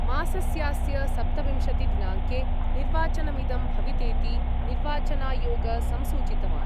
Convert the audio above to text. मासस्यास्य सप्तविंशति दिनांके निर्वाचनमिदं भवितेति निर्वाचनायोग संसूचितवान्।